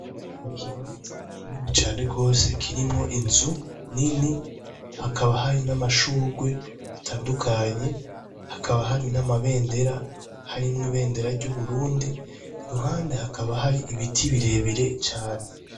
Mukibanza kinini cane gose kirimwo inzu nini hakaba hari namashurwe atandukanye hakaba hari namabendera harimwo ibendera ryuburundi iruhande hakaba hari ibiti birebire cane